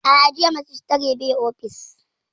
A'a, jiya Majistare bai ofis